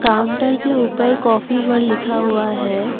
Counter के ऊपर काफी वर्ड लिखा हुआ है।